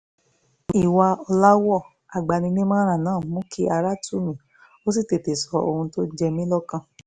ìwà ọ̀làwọ́ agbaninímọ̀ràn náà mú kí ara tù mí ó sì tètè sọ ohun tó ń jẹ mí lọ́kàn